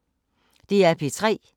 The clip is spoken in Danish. DR P3